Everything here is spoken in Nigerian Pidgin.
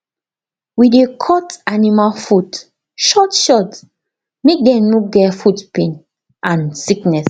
we dey cut animal foot short short make dem no get foot pain and sickness